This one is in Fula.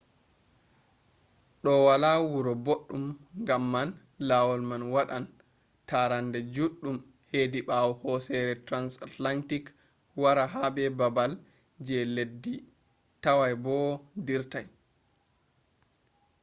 do wala wura boɗɗum ngam man lawol man waɗan tarande juɗɗum hedi ɓawo hosere transantarctic wara ha baabal je leddi toway bo dirtay